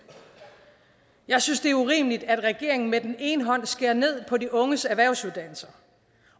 jeg synes det er urimeligt at regeringen med den ene hånd skærer ned på de unges erhvervsuddannelser